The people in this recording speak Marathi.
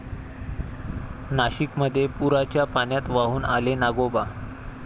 नाशिकमध्ये पुराच्या पाण्यात वाहून आले नागोबा!